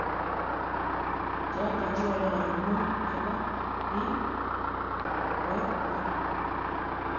Choton che kororon mut chebo d'Or 1.